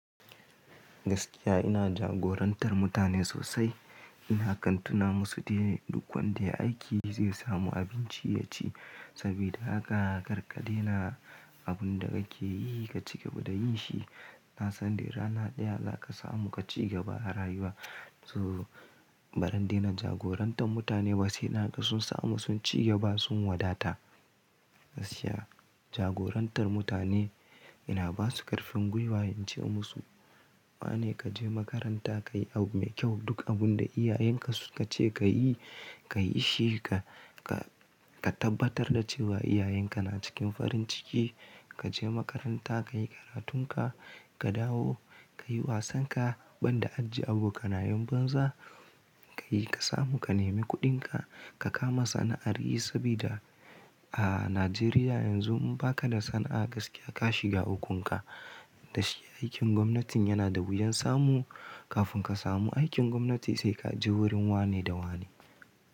Gaskiya ina jagorantar mutane sosai. Ina kantuna musu dai duk wanda ya yi aiki zai samu abinci ya ci. Sabida haka karka daina abun da kake yi ka cigaba da yin shi. Na san da rana ɗaya za ka samu ka cigaba da rayuwa. Toh barin daina jagorantar mutane ba sai na ga sun samu sun cigaba sun wadata. Gaskiya jagorantar mutane, yana ba su ƙarfin gwiwa, in ce musu wane ka je makaranta kayi abu mai kyau. Duk abun da iyayenka suka ce ka yi, ka yi shi ka tabbatar da cewa iyayenka na cikin farin ciki. Ka je makaranta kayi karatunka, ka dawo kayi wasan ka. Ban da ajiye abokanayen banza kayi ka samu ka nemi kuɗinka ka kama sana'ar yi. Saboda a Najeriya yanzu in ba ka da sana'a gaskiya ka shiga ukunka. Da shi aikin gwamnatin yana da wuyan samu. Kafin ka samu aikin gwamnati sai ka je wurin wane da wane.